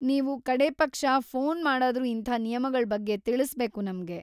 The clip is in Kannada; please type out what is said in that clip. ನೀವು ಕಡೇಪಕ್ಷ ಫೋನ್‌ ಮಾಡಾದ್ರೂ ಇಂಥ ನಿಯಮಗಳ್‌ ಬಗ್ಗೆ ತಿಳ್ಸ್‌ಬೇಕು ನಮ್ಗೆ.